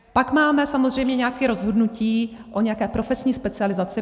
Pak máme samozřejmě nějaké rozhodnutí o nějaké profesní specializaci.